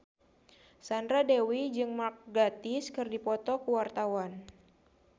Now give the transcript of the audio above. Sandra Dewi jeung Mark Gatiss keur dipoto ku wartawan